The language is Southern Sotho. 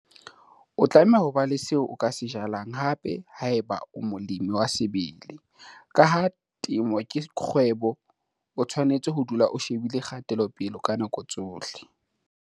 O tlameha ho ba le seo o ka se jalang hape haeba o molemi wa sebele. Ka ha temo ke kgwebo, o tshwanetse ho dula o shebile kgatelopele ka nako tsohle.